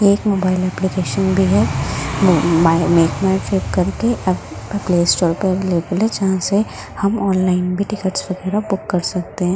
ये एक mobile application भी है मेक माय ट्रिप करके प्ले स्टोर पे अवेलेबल है जहां से हम ऑनलाइन भी टिकट्स वगैरह बुक कर सकते हैं।